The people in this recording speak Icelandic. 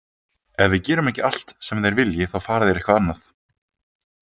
Ef við gerum ekki allt sem þeir vilji þá fari þeir eitthvað annað.